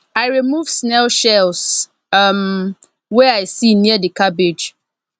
i remove snail shells um wey i see near the cabbage